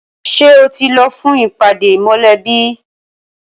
Ṣé o ti lọ fún ìpàdé mọlẹbi?